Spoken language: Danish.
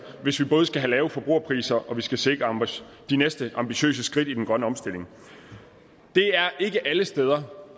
hvis vi både skal have lave forbrugerpriser og vi skal sikre de næste ambitiøse skridt i den grønne omstilling det er ikke alle steder